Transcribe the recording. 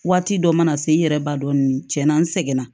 Waati dɔ mana se n yɛrɛ ba dɔn cɛn na n seginna